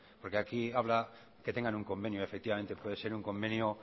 porque aquí habrá que tengan un convenio efectivamente puede ser un convenio